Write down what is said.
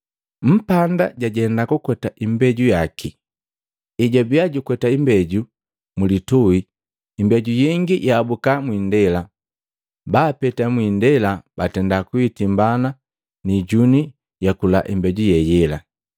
“Mpanda jajenda kukweta imbeju yaki. Ejwabia jukweta imbeju mulituhi, imbeju yengi yaabuka mwindela. Babapeta mwiindela batenda kuitimbana ni ijuni yakula imbeju ye yela.